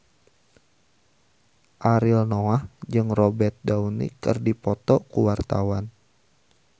Ariel Noah jeung Robert Downey keur dipoto ku wartawan